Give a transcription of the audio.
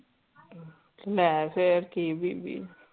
ਮੈ ਫੇਰ ਕੀ ਬੀਬੀ